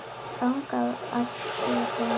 Þangað ætti að beina sjónum.